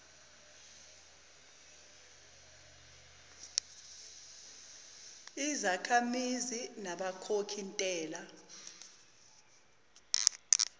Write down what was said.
izakhamizi nabakhokhi ntela